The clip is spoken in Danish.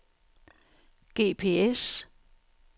GPS